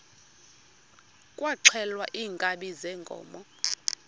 kwaxhelwa iinkabi zeenkomo